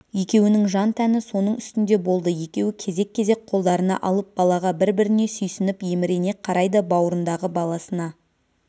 екеуінің жан-тәні соның үстінде болды екеуі кезек-кезек қолдарына алып балаға бір-біріне сүйсініп емірене қарайды бауырындағы баласына